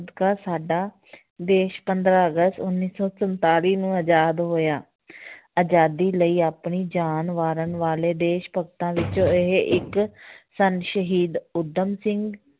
ਸਾਡਾ ਦੇਸ ਪੰਦਰਾਂ ਅਗਸਤ ਉੱਨੀ ਸੌ ਸੰਤਾਲੀ ਨੂੰ ਆਜ਼ਾਦ ਹੋਇਆ ਆਜ਼ਾਦੀ ਲਈ ਆਪਣੀ ਜਾਨ ਵਾਰਨ ਵਾਲੇ ਦੇਸ ਭਗਤਾਂ ਵਿੱਚੋਂ ਇਹ ਇੱਕ ਸਨ ਸ਼ਹੀਦ ਊਧਮ ਸਿੰਘ